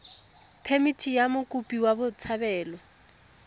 phemithi ya mokopi wa botshabelo